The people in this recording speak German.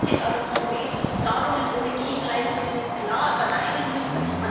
Man hätte ganz konkret Zahlungen ohne Gegenleistungen klar verneinen müssen.